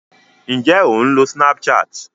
Ǹjé o ń lo Snapchat?